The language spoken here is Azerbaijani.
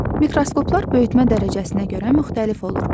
Mikroskoplar böyütmə dərəcəsinə görə müxtəlif olur.